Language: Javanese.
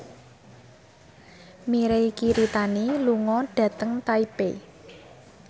Mirei Kiritani lunga dhateng Taipei